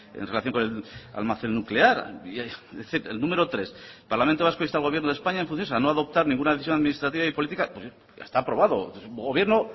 en relación con el almacén nuclear el número tres el parlamento vasco insta al gobierno de españa en funciones a no adoptar ninguna decisión administrativa y política ya está aprobado el gobierno